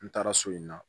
N taara so in na